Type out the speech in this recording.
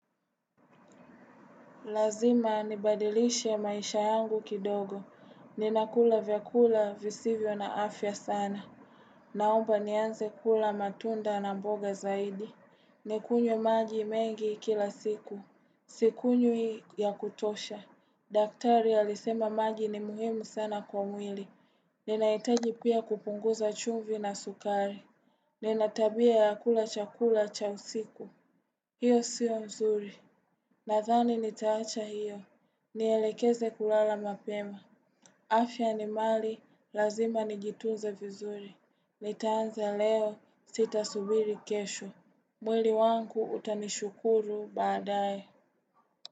Lazima nibadilishe maisha yangu kidogo. Ninakula vyakula visivyo na afya sana. Naomba nianze kula matunda na mboga zaidi. Nikunywe maji mengi kila siku. Sikunywi ya kutosha. Daktari alisema maji ni muhimu sana kwa mwili. Ninahitaji pia kupunguza chumvi na sukari. Ninatabia ya kula chakula cha usiku. Hiyo siyo mzuri. Nathani nitaacha hiyo. Nielekeze kulala mapema. Afya ni mali lazima nijituze vizuri. Nitaanza leo sita subiri kesho. Mwili wangu utanishukuru baadae.